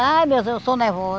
Ai, meu Deus, eu sou nervosa.